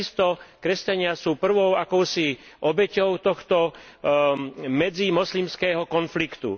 Takisto kresťania sú prvou akousi obeťou tohto medzimoslimského konfliktu.